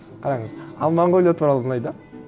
қараңыз ал монғолия туралы былай да